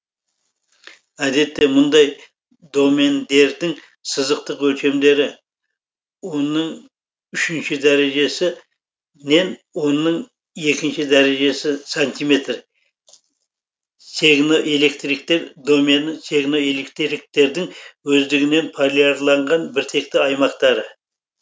әдетте мұндай домендердің сызықтық өлшемдері онның үшінші дәрежесі нен онның екінші дәрежесі сантиметр сегноэлектриктер домені сегноэлектриктердің өздігінен полиярланған біртекті аймақтары